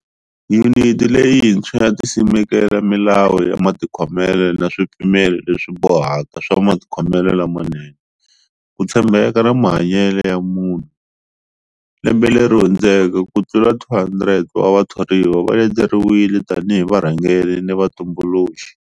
Yuniti leyintswa yi ta simeka milawu ya matikhomelo na swipimelo leswibohaka swa matikhomelo lamanene, ku tshembeka na mahanyelo ya vumunhu. Lembe leri hundzeke ku tlula 200 wa vathoriwa va leteriwile tanihi varhangeri ni vatumbuluxi.